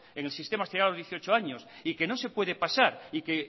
en el sistema dieciocho años y que no se puede pasar y que